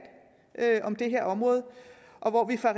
om det her område og hvor vi fra